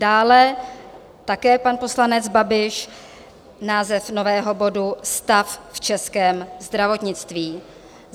Dále také pan poslanec Babiš, název nového bodu Stav v českém zdravotnictví.